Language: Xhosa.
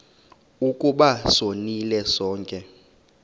ukuba sonile sonke